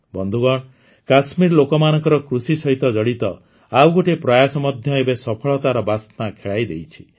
ବନ୍ଧୁଗଣ କାଶ୍ମୀର ଲୋକମାନଙ୍କର କୃଷି ସହିତ ଜଡ଼ିତ ଆଉ ଗୋଟିଏ ପ୍ରୟାସ ମଧ୍ୟ ଏବେ ସଫଳତାର ବାସ୍ନା ଖେଳାଇ ଦେଇଛି